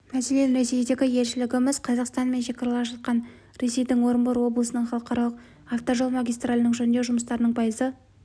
мәселен ресейдегі елшілігіміз қазақстан мен шекаралас жатқан ресейдің орынбор облысының халықаралық автожол магистралінің жөндеу жұмыстарының пайызы